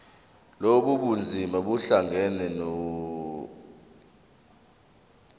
lobu bunzima buhlangane